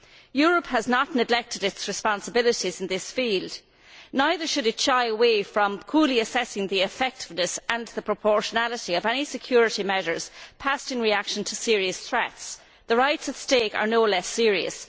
Europe has not neglected its responsibilities in this field neither should it shy away from coolly assessing the effectiveness and proportionality of any security measures passed in reaction to serious threats. The rights at stake are no less serious.